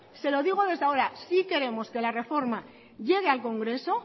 se lo digo desde ahora sí queremos que la reforma llegue al congreso